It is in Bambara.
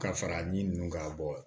Ka fara ɲinnu kan bɔ